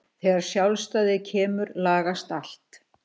Þegar sjálfstæðið kemur lagast allt.